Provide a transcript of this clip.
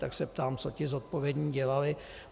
Tak se ptám, co ti zodpovědní dělali.